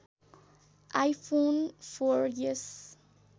iPhone four S